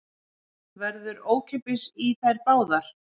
Verður ókeypis í þær báðar